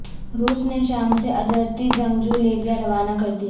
روس نے شام سے اجرتی جنگجو لیبیا روانہ کر دیئے